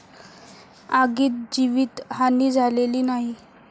आगीत जीवितहानी झालेली नाही.